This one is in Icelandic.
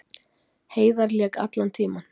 Heiðar lék allan tímann